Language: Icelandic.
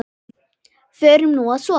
Förum nú að sofa.